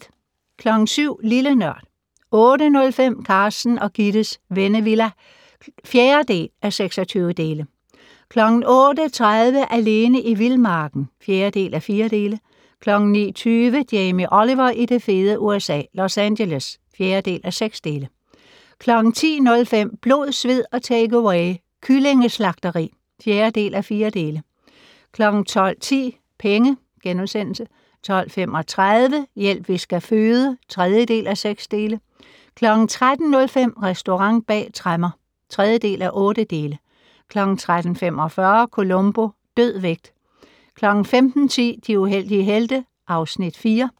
07:00: Lille Nørd 08:05: Carsten og Gittes Vennevilla (4:26) 08:30: Alene i vildmarken (4:4) 09:20: Jamie Oliver i det fede USA - Los Angeles (4:6) 10:05: Blod, sved og takeaway - kyllingeslagteri (4:4) 12:10: Penge * 12:35: Hjælp, vi skal føde (3:6) 13:05: Restaurant bag tremmer (3:8) 13:45: Columbo: Død vægt 15:10: De uheldige helte (Afs. 4)